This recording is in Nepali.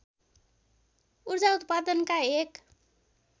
ऊर्जा उत्पादनका एक